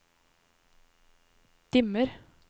dimmer